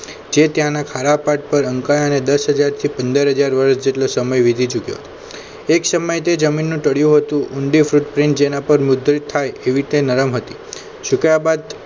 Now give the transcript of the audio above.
જે ત્યાંના ખારાપાટ પર અંકે દસ હાજર થી પંદર હજાર વર્ષ જેટલો સમય વીતી ચૂક્યો હતો એક સમય તે જમીનનું તળિયું હતું ઊંડી foot print જેના પર મુદ્રિત થાય એવી તે નરમ હતી